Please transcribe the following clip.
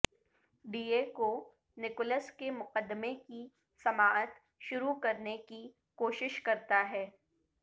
D A کو Nicholas کے مقدمے کی سماعت شروع کرنے کی کوشش کرتا ہے